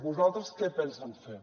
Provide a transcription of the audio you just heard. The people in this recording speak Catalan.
vosaltres què penseu fer